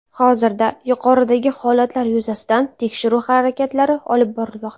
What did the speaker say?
Hozirda yuqoridagi holatlar yuzasidan tekshiruv harakatlari olib borilmoqda.